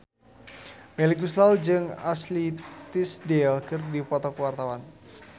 Melly Goeslaw jeung Ashley Tisdale keur dipoto ku wartawan